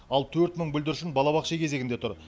ал төрт мың бүлдіршін балабақша кезегінде тұр